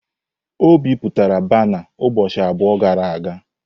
O bipụtara bana ụbọchị abụọ gara aga?